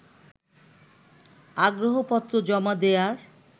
আগ্রহপত্র জমা দেয়ার